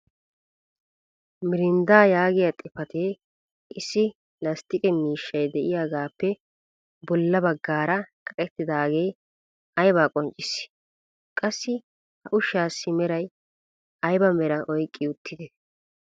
Mirindaa yaagiya xifatee issi lasttiqqe miishshay diyaagaappe bolla bagaara kaqettidaagee aybaa qonccissii? Qassi ha ushshaassi meray aybaa meraa oyqqi uttidee?